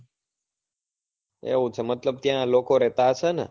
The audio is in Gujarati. એવું છે મતલબ ત્યાં લોકો રેતા હશે ને?